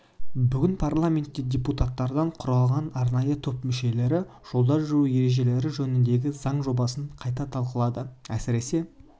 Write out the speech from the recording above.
бүгін парламентте депутаттардан құралған арнайы топ мүшелері жолда жүру ережелері жөніндегі заң жобасын қайта талқылады әсіресе